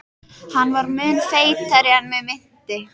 Hann var mun feitari en mig minnti.